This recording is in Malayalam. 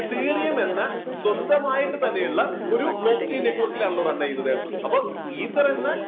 ethereum എന്ന സ്വന്തം ആയിട്ട് തന്നെ ഉള്ള ഒരു block chain network ലാണല്ലോ run ആവുന്നത് അപ്പോ ether എന്ന